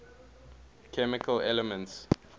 chemical elements